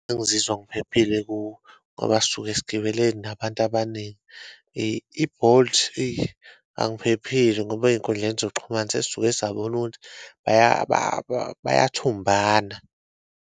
Angizizwa ngiphephile kuwo ngoba sisuke sigibele nabantu abaningi. I-Bolt, eyi angiphephile ngoba eyinkundleni zokuxhumana sesisuke sabona ukuthi bayathumbana.